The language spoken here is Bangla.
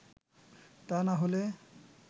তা না হলে